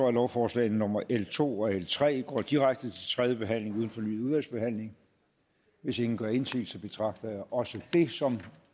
at lovforslagene nummer l to og l tre går direkte til tredje behandling uden fornyet udvalgsbehandling hvis ingen gør indsigelse betragter jeg også det som